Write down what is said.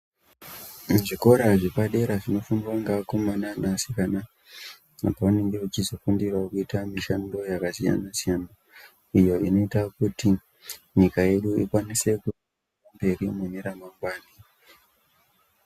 Muzvikora zvepadera zvinofundwa ngeakomana neasikana apo pavanenge vechizofundirawo kuita mishando yakasiyana siyana iyo inoita kuti nyika yedu ikwanise kuende mberi mune ramangwani.